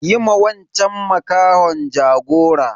Yi ma wanchan makahon jagora.